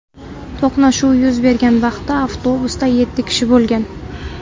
To‘qnashuv yuz bergan vaqtda avtobusda yetti kishi bo‘lgan.